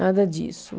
Nada disso.